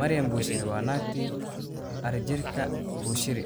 Maryan Bushiri waa naagtii Shepherd Bushiri.